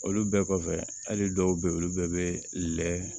Olu bɛɛ kɔfɛ hali dɔw be yen olu bɛɛ be lɛ